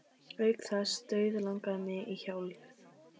Auk þess dauðlangaði mig í hjólið.